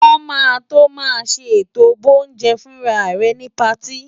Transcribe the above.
Wọn máa tó màá ṣe ètò boúnjẹ-fúnra rẹ ni patí.